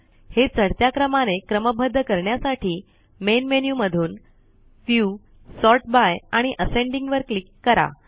हे चढत्या क्रमाने क्रमबद्ध करण्यासाठी मेन मेन्यु मधून व्ह्यू सॉर्ट बाय आणि असेंडिंग वर क्लिक करा